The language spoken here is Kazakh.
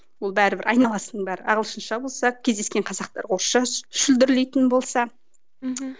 ол бәрібір айналасының бәрі ағылшынша болса кездескен қазақтар орысша шүлдірлейтін болса мхм